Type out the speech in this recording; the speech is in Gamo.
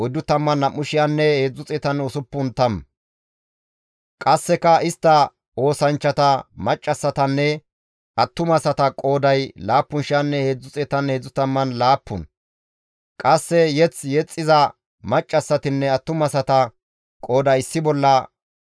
qasseka istta oosanchchata, maccassatanne attumasata qooday 7,337 qasse mazamure yexxiza maccassatinne attumasata qooday issi bolla 245